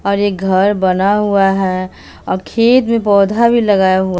और एक घर बना हुआ है और खेत में पौधा भी लगाए हुआ--